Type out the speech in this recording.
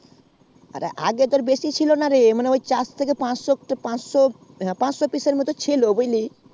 আগে তো বেসি ছিল না রে মোটা মতি চারশো থেকে পাঁচশো পিস্ এ মতো ছিল